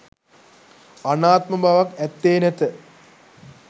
අනාත්ම බවක් ඇත්තේ නැත.